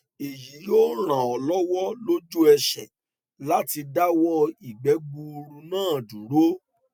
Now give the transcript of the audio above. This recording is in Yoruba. èyí yóò ràn ọ lọwọ lójú ẹsẹ láti dáwọ ìgbẹ gbuuru náà dúró